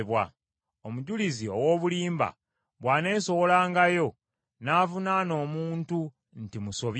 Omujulizi ow’obulimba bw’aneesowolangayo n’avunaana omuntu nti musobya,